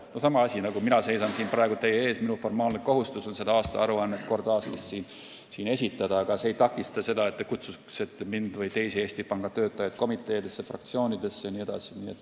See on sama asi, nagu mina seisan siin praegu teie ees ja minu formaalne kohustus on kord aastas teile siin aastaaruannet esitada, aga see ei takista teil kutsuda mind või teisi Eesti Panga töötajaid komiteedesse, fraktsioonidesse jne.